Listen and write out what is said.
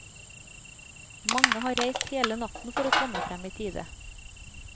Mange har reist hele natten for å komme frem i tide.